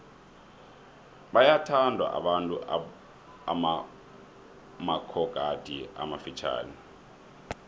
bayawathanda abantu amabhokadi amafitjhani